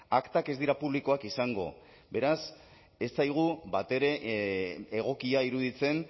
aktak ez dira publikoak izango beraz ez zaigu batere egokia iruditzen